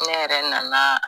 Ne yɛrɛ nana